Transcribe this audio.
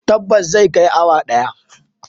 Tabbas zai kai awa daya.